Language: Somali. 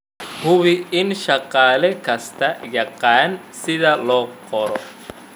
Hubi in shaqaale kastaa yaqaan sida loo qoro.